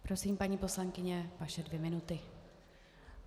Prosím, paní poslankyně, vaše dvě minuty.